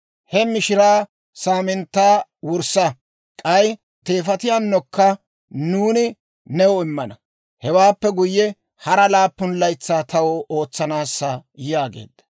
He mishiraa saaminttaa wurssa; k'ay teefatiyaanokka nuuni new immana; hewaappe guyye, hara laappun laytsaa taw ootsaasa» yaageedda.